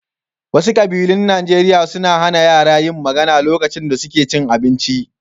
Wasu ƙabilun Najeriya suna hana yara yin magana lokacin da suke cin abinci.